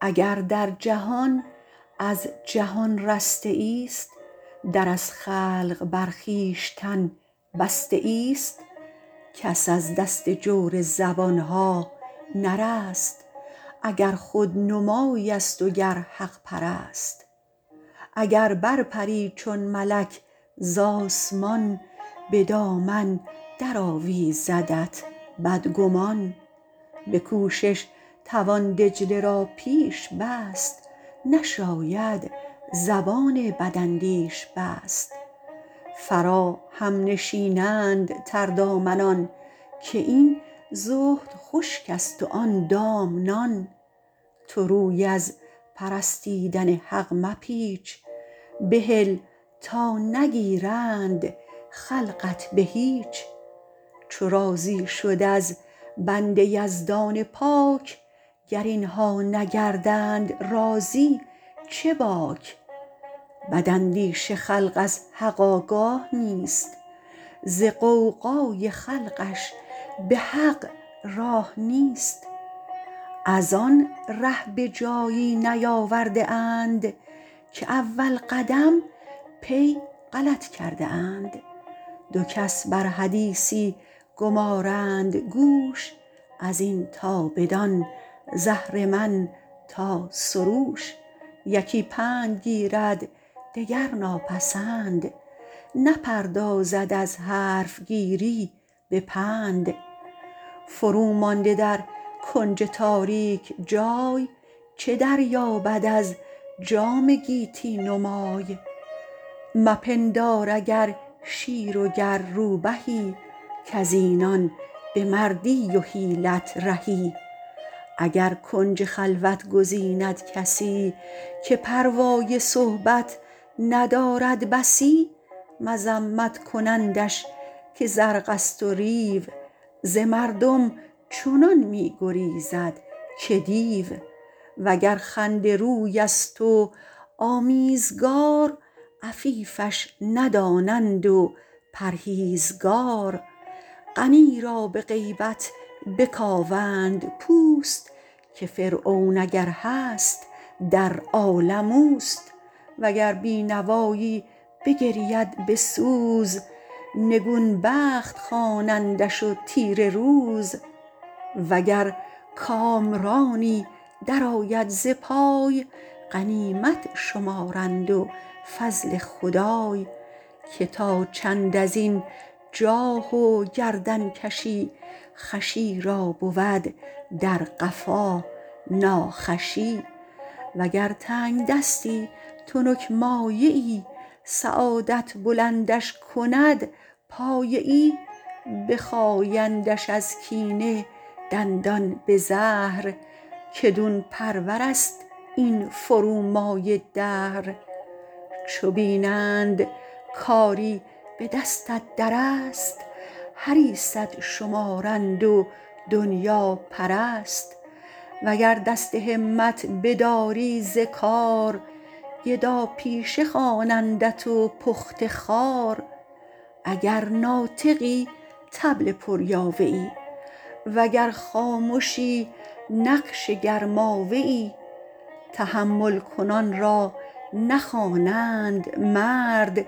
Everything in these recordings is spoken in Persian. اگر در جهان از جهان رسته ای است در از خلق بر خویشتن بسته ای است کس از دست جور زبانها نرست اگر خودنمای است و گر حق پرست اگر بر پری چون ملک به آسمان ز دامن در آویزدت بدگمان به کوشش توان دجله را پیش بست نشاید زبان بداندیش بست فراهم نشینند تردامنان که این زهد خشک است و آن دام نان تو روی از پرستیدن حق مپیچ بهل تا نگیرند خلقت به هیچ چو راضی شد از بنده یزدان پاک گر اینها نگردند راضی چه باک بد اندیش خلق از حق آگاه نیست ز غوغای خلقش به حق راه نیست از آن ره به جایی نیاورده اند که اول قدم پی غلط کرده اند دو کس بر حدیثی گمارند گوش از این تا بدان ز اهرمن تا سروش یکی پند گیرد دگر ناپسند نپردازد از حرفگیری به پند فرو مانده در کنج تاریک جای چه دریابد از جام گیتی نمای مپندار اگر شیر و گر روبهی کز اینان به مردی و حیلت رهی اگر کنج خلوت گزیند کسی که پروای صحبت ندارد بسی مذمت کنندش که زرق است و ریو ز مردم چنان می گریزد که دیو وگر خنده روی است و آمیزگار عفیفش ندانند و پرهیزگار غنی را به غیبت بکاوند پوست که فرعون اگر هست در عالم اوست وگر بینوایی بگرید به سوز نگون بخت خوانندش و تیره روز وگر کامرانی در آید ز پای غنیمت شمارند و فضل خدای که تا چند از این جاه و گردن کشی خوشی را بود در قفا ناخوشی و گر تنگدستی تنک مایه ای سعادت بلندش کند پایه ای بخایندش از کینه دندان به زهر که دون پرور است این فرومایه دهر چو بینند کاری به دستت در است حریصت شمارند و دنیاپرست وگر دست همت بداری ز کار گدا پیشه خوانندت و پخته خوار اگر ناطقی طبل پر یاوه ای وگر خامشی نقش گرماوه ای تحمل کنان را نخوانند مرد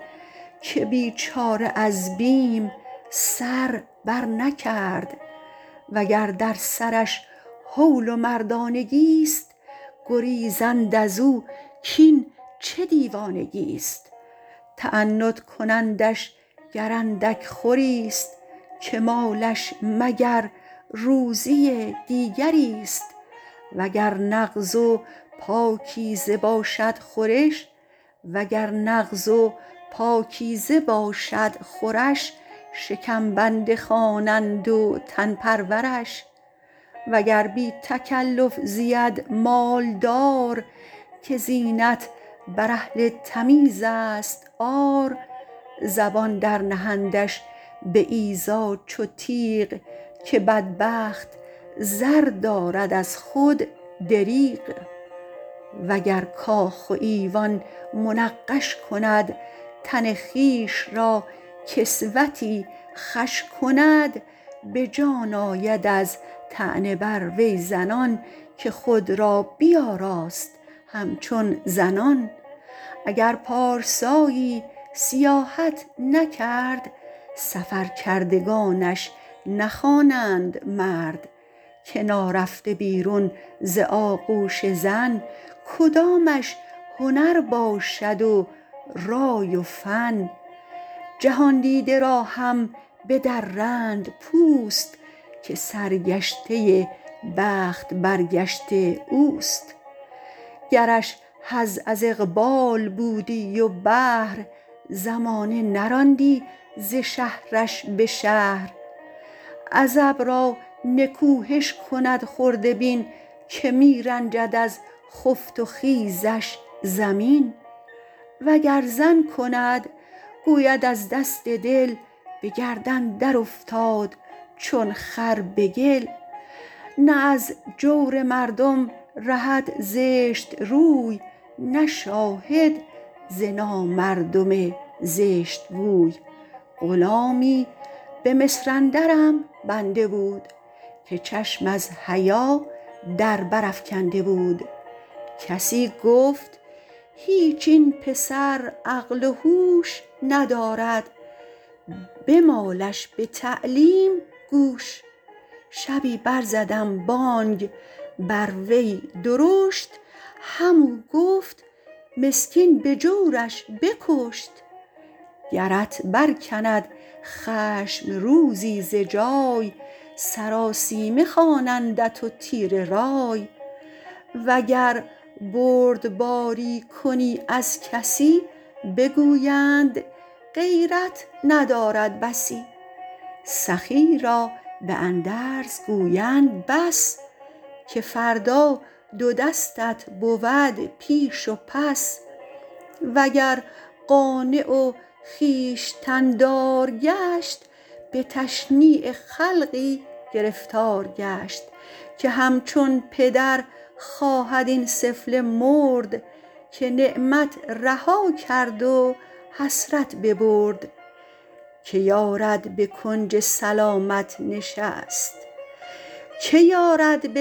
که بیچاره از بیم سر برنکرد وگر در سرش هول و مردانگی است گریزند از او کاین چه دیوانگی است تعنت کنندش گر اندک خوری است که مالش مگر روزی دیگری است وگر نغز و پاکیزه باشد خورش شکم بنده خوانند و تن پرورش وگر بی تکلف زید مالدار که زینت بر اهل تمیز است عار زبان در نهندش به ایذا چو تیغ که بدبخت زر دارد از خود دریغ و گر کاخ و ایوان منقش کند تن خویش را کسوتی خوش کند به جان آید از طعنه بر وی زنان که خود را بیاراست همچون زنان اگر پارسایی سیاحت نکرد سفر کردگانش نخوانند مرد که نارفته بیرون ز آغوش زن کدامش هنر باشد و رای و فن جهاندیده را هم بدرند پوست که سرگشته بخت برگشته اوست گرش حظ از اقبال بودی و بهر زمانه نراندی ز شهرش به شهر عزب را نکوهش کند خرده بین که می رنجد از خفت و خیزش زمین وگر زن کند گوید از دست دل به گردن در افتاد چون خر به گل نه از جور مردم رهد زشت روی نه شاهد ز نامردم زشت گوی غلامی به مصر اندرم بنده بود که چشم از حیا در بر افکنده بود کسی گفت هیچ این پسر عقل و هوش ندارد بمالش به تعلیم گوش شبی بر زدم بانگ بر وی درشت هم او گفت مسکین به جورش بکشت گرت برکند خشم روزی ز جای سراسیمه خوانندت و تیره رای وگر بردباری کنی از کسی بگویند غیرت ندارد بسی سخی را به اندرز گویند بس که فردا دو دستت بود پیش و پس وگر قانع و خویشتن دار گشت به تشنیع خلقی گرفتار گشت که همچون پدر خواهد این سفله مرد که نعمت رها کرد و حسرت ببرد که یارد به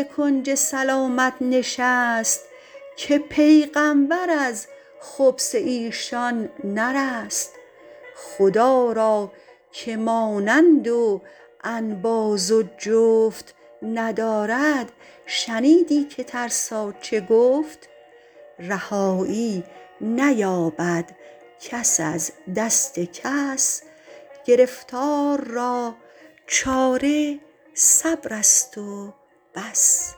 کنج سلامت نشست که پیغمبر از خبث ایشان نرست خدا را که مانند و انباز و جفت ندارد شنیدی که ترسا چه گفت رهایی نیابد کس از دست کس گرفتار را چاره صبر است و بس